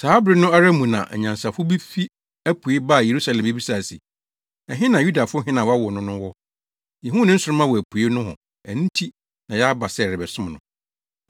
Saa bere no ara mu na anyansafo bi fi apuei baa Yerusalem bebisae se, “Ɛhe na Yudafo hene a wɔawo no no wɔ? Yehuu ne nsoromma wɔ apuei nohɔ, nti na yɛaba sɛ yɛrebɛsom no.”